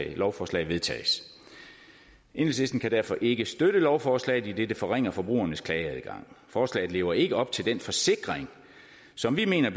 lovforslag vedtages enhedslisten kan derfor ikke støtte lovforslaget idet det forringer forbrugernes klageadgang forslaget lever ikke op til den forsikring som vi mener i